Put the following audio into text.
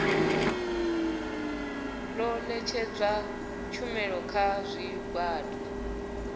ḓo ṋetshedza tshumelo kha zwigwada